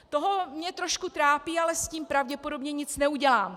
To mě trošku trápí, ale s tím pravděpodobně nic neudělám.